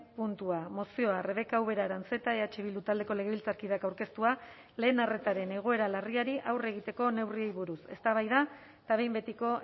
puntua mozioa rebeka ubera aranzeta eh bildu taldeko legebiltzarkideak aurkeztua lehen arretaren egoera larriari aurre egiteko neurriei buruz eztabaida eta behin betiko